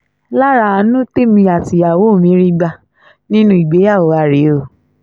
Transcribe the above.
lára àánú tèmi àtìyàwó mi rí gbà nínú ìgbéyàwó wàá rèé o